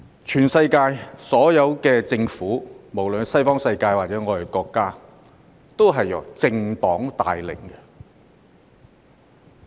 全世界所有政府，無論是西方世界或我們的國家，都是由政黨帶領的。